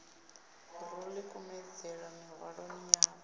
ro ḓi kumedzela miṅwahani yo